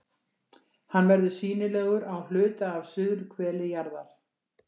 Hann verður sýnilegur á hluta af suðurhveli jarðar.